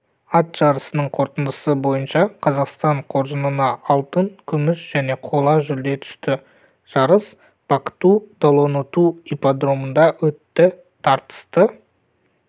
ат жарысының қорытындысы бойынша қазақстан қоржынына алтын күміс және қола жүлде түсті жарысбактуу-долоноту ипподромында өтті тартысты